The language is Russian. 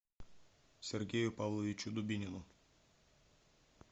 сергею павловичу дубинину